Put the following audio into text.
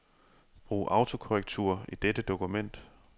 Brug autokorrektur i dette dokument.